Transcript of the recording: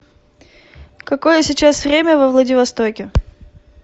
какое сейчас время во владивостоке